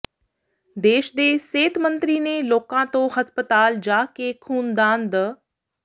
ਦੇਸ਼ ਦੇ ਸਿਹਤ ਮੰਤਰੀ ਨੇ ਲੋਕਾਂ ਤੋਂ ਹਸਪਤਾਲ ਜਾ ਕੇ ਖ਼ੂਨਦਾਨ ਦ